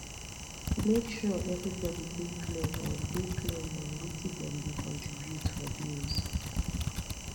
make sure everybody dey clear on dey clear on wetin dem dey contribute for bills